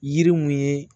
Yiri mun ye